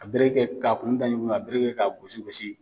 A bere kɛ ka kunda ɲɔgɔna ka bere kɛ ka gosi gosi.